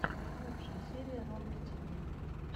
лучшая серия ромки тиви